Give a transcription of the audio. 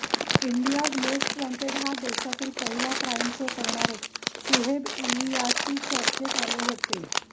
India's most wanted हा देशातला पहिला क्राईम शो करणारे सुहैब इलियासी चर्चेत आले होते